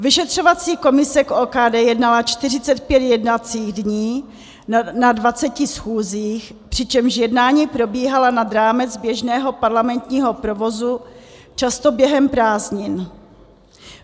Vyšetřovací komise k OKD jednala 45 jednacích dní na 20 schůzích, přičemž jednání probíhala nad rámec běžného parlamentního provozu, často během prázdnin.